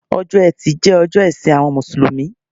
Ọjọ́ etí jẹ́ ọjọ́ ìsìn àwọn Mùsùlùmí